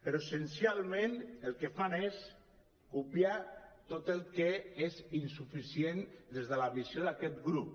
però essencialment el que fan és copiar tot el que és insuficient des de la visió d’aquest grup